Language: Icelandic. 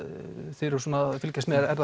þið eruð að fylgjast með er